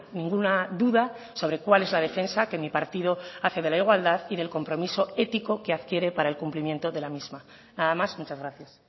ninguna duda sobre cuál es la defensa que mi partido hace de la igualdad y del compromiso ético que adquiere para el cumplimiento de la misma nada más muchas gracias